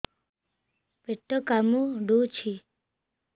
ପେଟ କାମୁଡୁଛି